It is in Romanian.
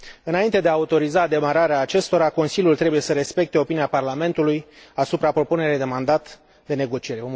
Înainte de a autoriza demararea acestora, Consiliul trebuie să respecte opinia Parlamentului asupra propunerii de mandat de negociere.